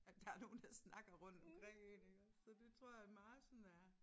At der nogen der snakker rundt omkring én iggås så det tror jeg meget sådan er